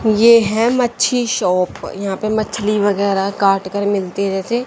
ये है मच्छी शॉप यहां पे मछली वगैरा काट कर मिलती रहती--